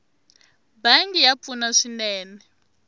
bangi ya pfuna swinene